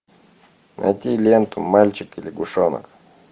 найти ленту мальчик и лягушонок